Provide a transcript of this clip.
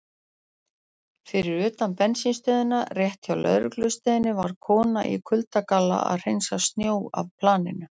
Fyrir utan bensínstöðina rétt hjá lögreglustöðinni var kona í kuldagalla að hreinsa snjó af planinu.